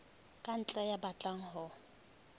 ka ntle ya batlang ho